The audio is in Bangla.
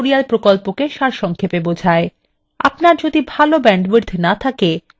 আপনার যদি ভাল bandwidth না থাকে আপনি ভিডিওটি download করেও দেখতে পারেন